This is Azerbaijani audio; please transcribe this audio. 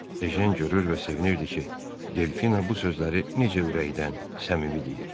Ejen görür və sevinirdi ki, Delfina bu sözləri necə ürəkdən, səmimi deyir.